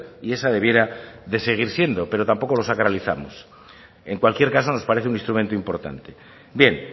y esa debiera de seguir siendo pero tampoco lo sacralizamos en cualquier caso nos parece un instrumento importante bien